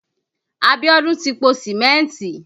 Abiodun ti po Sìmẹ́ntì